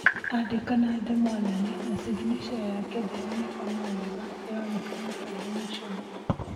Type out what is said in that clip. Andĩka na ndemwa nene na ciginaca yake ndĩronekana wega. ĩronekana tarĩ mũcoro.